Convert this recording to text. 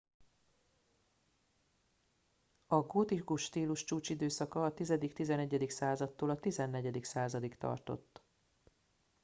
a gótikus stílus a csúcsidőszaka a 10-11. századtól a 14. századig tartott